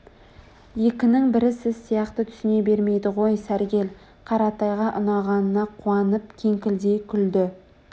екінің бірі сіз сияқты түсіне бермейді ғой сәргел қаратайга ұнағанына қуанып кеңкілдей күлді